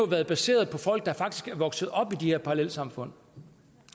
været baseret på folk der faktisk er vokset op i de her parallelsamfund